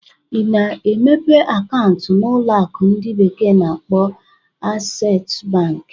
Ị na-emepe akaụntụ na ụlọ akụ ndi bekee na-akpo Aksesu Banki?